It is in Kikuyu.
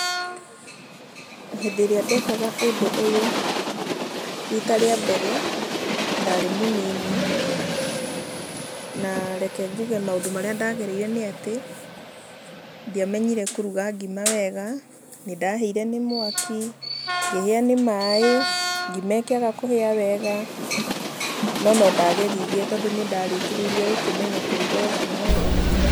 Hĩndĩ ĩrĩa ndekaga ũndũ ũyũ, rita rĩa mbere ndarĩ mũnini, na reke njuge maũndũ marĩa ndagereire nĩ atĩ, ndiamenyire kũruga ngima wega, nĩndahĩire nĩ mwaki, ngĩhĩa nĩ maĩ, ngima ĩkĩaga kũhĩa wega, no nondageririe, tondũ nĩ ndarĩkĩrĩirie gũkĩmenya kũruga o ngima wega.